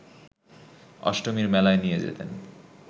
অষ্টমীর মেলায় নিয়ে যেতেন